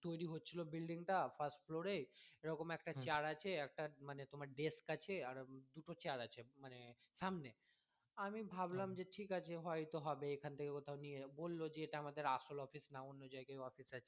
তৈরি হচ্ছিলো building টা first floor এ এরকম একটা চাল আছে একটা মানে তোমার একটা desk আছে দুটো চাল আছে মানে সামনে আমি ভাবলাম যে ঠিক আছে হয়তো হবে এখান থেকে কোথাও নিয়ে বললো যে এটা আমাদের আসল office না অন্য জায়গায় office আছে